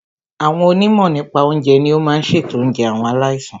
Àwọn onímọ̀ nípa oúnjẹ ní o máà n ṣètò oúnjẹ àwọn aláìsàn.